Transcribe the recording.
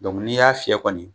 n'i y'a fiyɛ kɔni